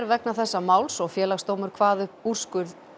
vegna þessa máls Félagsdómur kvað upp úrskurð